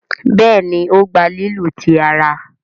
Béèni o gbà lílu tí àrà.